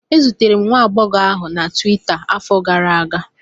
E zutere m nwa agbọghọ ahụ na Tuweeta n'afọ gara aga